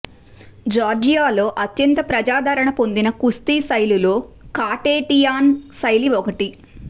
జార్జియాలో అత్యంత ప్రజాదరణ పొందిన కుస్తీ శైలులలో కాఖేటియాన్ శైలి ఒకటి